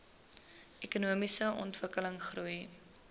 ekonomiese ontwikkeling goeie